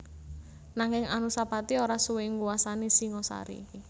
Nanging Anusapati ora suwé nguwasani Singasari